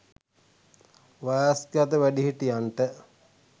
වයස්ගත වැඩිහිටියන්ට